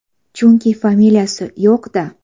Chunki familiyasi yo‘q-da!